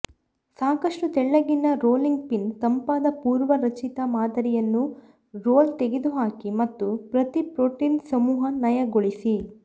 ಸಾಕಷ್ಟು ತೆಳ್ಳಗಿನ rolling pin ತಂಪಾದ ಪೂರ್ವರಚಿತ ಮಾದರಿಯನ್ನು ರೋಲ್ ತೆಗೆದುಹಾಕಿ ಮತ್ತು ಪ್ರತಿ ಪ್ರೋಟೀನ್ ಸಮೂಹ ನಯಗೊಳಿಸಿ